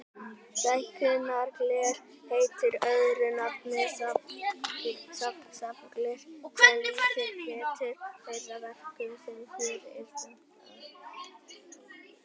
Stækkunargler heitir öðru nafni safngler, sem lýsir betur þeirri verkun sem hér er stefnt að.